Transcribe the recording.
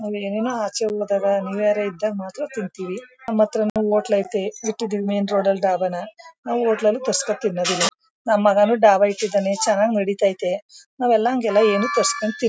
ಆಚೆ ಹೋದಾಗ ಮಾತ್ರ ತಿಂತೀವಿ ನಮತ್ರ ಹೋಟೆಲ್ ಐತೆ ಮೇನ್ ರೋಡ್ ಅಲ್ಲಿ ಡಾಬಾ ನಾವು ಹೋಟೆಲ್ಲಲಿ ತರಸ್ಕೊಂಡು ತಿನ್ನದಿಲ್ಲ ನಮ್ಮ ಮಗನು ಡಾಬಾ ಇಟ್ಟಿದಾನೆ ಚೆನಾಗ್ ನಡೀತಾ ಇದೆ ನಾವಲ್ಲ ಅಂಗೇ ಏನ್ ತರಸ್ಕೊನ್ ತಿನ್ --